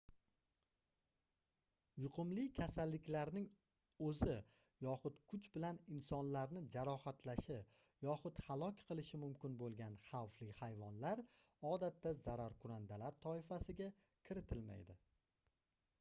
yuqumli kasalliklarning oʻzi yoxud kuch bilan insonlarni jarohatlashi yoxud halok qilishi mumkin boʻlgan xavfli hayvonlar odatda zararkunandalar toifasiga kiritilmaydi